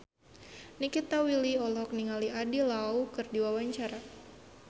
Nikita Willy olohok ningali Andy Lau keur diwawancara